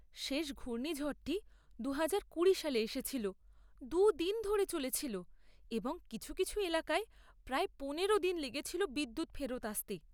শেষ ঘূর্ণিঝড়টি দুহাজার কুড়ি সালে এসেছিল, দু'দিন ধরে চলেছিল এবং কিছু কিছু এলাকায় প্রায় পনেরো দিন লেগেছিল বিদ্যুৎ ফেরত আসতে।